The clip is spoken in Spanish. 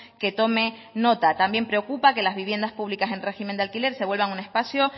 que tome nota también preocupa que las viviendas públicas en régimen de alquiler se vuelvan un espacio